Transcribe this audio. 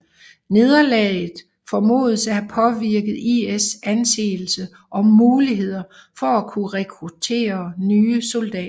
Nederlaget formodes at have påvirket IS anseelse og muligheder for at kunne rekruttere nye soldater